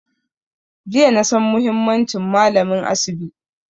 Jiya na san muhimmancin malamin asibi